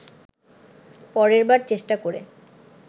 পরের বার চেষ্টা করে